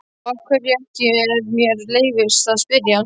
Og af hverju ekki ef mér leyfist að spyrja?